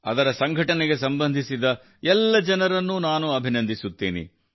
ಅದರ ಸಂಘಟನೆಗೆ ಸಂಬಂಧಿಸಿದ ಎಲ್ಲ ಜನರನ್ನು ನಾನು ಅಭಿನಂದಿಸುತ್ತೇನೆ